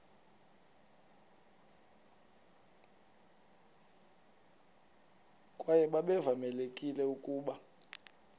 kwaye babevamelekile ukuba